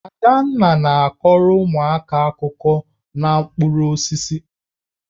Adanna na-akọrọ ụmụaka akụkọ n'okpuru osisi